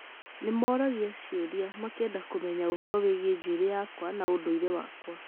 Nĩ moragia ciũria, makaenda kũmenya ũhoro wĩgiĩ njuĩrĩ yakwa na ũndũire wakwa.